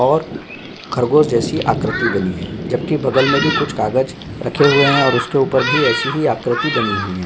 और ख़रगोश जैसी आकृति बनी है जबकी बगल में भी कुछ कागज़ रखे हुए हैं और उसके ऊपर भी ऐसी ही आकृति बनी हुई है।